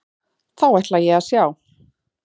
Þá ætla ég að sjá.